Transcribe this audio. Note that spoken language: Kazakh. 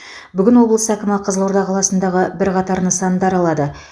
бүгін облыс әкімі қызылорда қаласындағы бірқатар нысандар алады